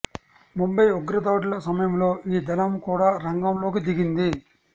ముంబై ఉగ్ర దాడుల సమయంలో ఈ దళం కూడా రంగంలోకి దిగింది